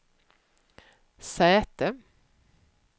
säte